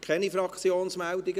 Keine Fraktionsmeldungen?